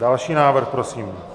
Další návrh prosím.